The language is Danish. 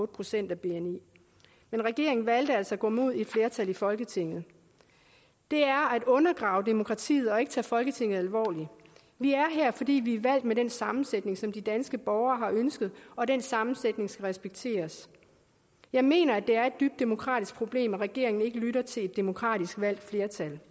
procent af bni men regeringen valgte altså at gå imod et flertal i folketinget det er at undergrave demokratiet og ikke tage folketinget alvorligt vi er her fordi vi er valgt med den sammensætning som de danske borgere har ønsket og den sammensætning skal respekteres jeg mener at det er et demokratisk problem at regeringen ikke lytter til et demokratisk valgt flertal